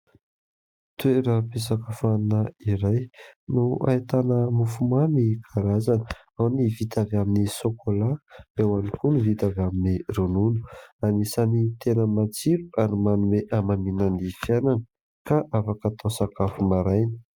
Toeram-pisakafoanana iray no ahitana mofomamy karazana. Ao ny vita avy amin'ny sokola, eo ihany koa no vita avy amin'ny ronona, anisan'ny tena matsiro ary manome amamiana ny fiainana ka afaka atao sakafo maraina.